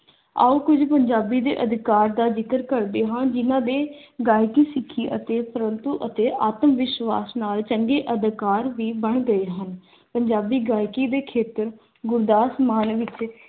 ਆਓ ਕੁਝ ਪੰਜਾਬੀ ਦੇ ਅਧਿਕਾਰ ਦਾ ਜ਼ਿਕਰ ਕਰਦੇ ਹਾਂ, ਜਿਹਨਾਂ ਦੇ ਗਾਇਕੀ, ਸਿੱਖੀ ਅਤੇ ਪ੍ਰੰਤੂ ਅਤੇ ਆਤਮ-ਵਿਸ਼ਵਾਸ ਨਾਲ ਚੰਗੇ ਅਧਿਕਾਰ ਵੀ ਬਣ ਗਏ ਹਨ। ਪੰਜਾਬੀ ਗਾਇਕੀ ਦੇ ਖੇਤਰ ਗੁਰਦਾਸ ਮਾਨ ਵਿੱਚ